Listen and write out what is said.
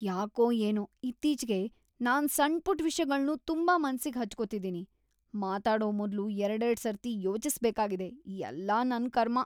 ಯಾಕೋ ಏನೋ ಇತ್ತೀಚ್ಗೆ ನಾನ್‌ ಸಣ್ಪುಟ್‌ ವಿಷ್ಯಗಳ್ನೂ ತುಂಬಾ ಮನ್ಸಿಗ್ ಹಚ್ಕೊತಿದೀನಿ, ಮಾತಾಡೋ ಮೊದ್ಲು ಎರ್ಡೆರ್ಡ್ ಸರ್ತಿ ಯೋಚಿಸ್ಬೇಕಾಗಿದೆ, ಎಲ್ಲ ನನ್‌ ಕರ್ಮ.